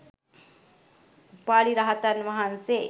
උපාලි රහතන් වහන්සේ